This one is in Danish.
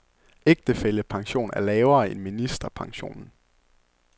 Ægtefællepension er lavere end ministerpensionen.